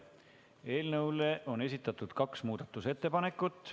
Eelnõu kohta on esitatud kaks muudatusettepanekut.